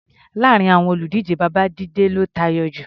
Láàárin àwọn olùdíje, Babájíde ló tayọ jù.